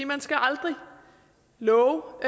man skal aldrig love